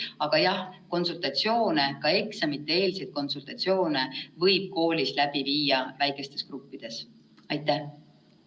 Aga jah, konsultatsioone, ka eksamite-eelseid konsultatsioone võib väikestes gruppides koolis läbi viia.